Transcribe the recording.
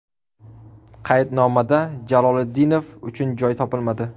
Qaydnomada Jaloliddinov uchun joy topilmadi.